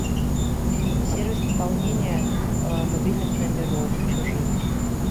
сервис пополнения мобильных номеров чужих